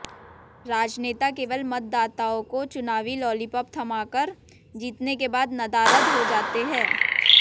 राजनेता केवल मतदाताओं को चुनावी लालीपॉप थमाकर जीतने के बाद नदारद हो जाते हैं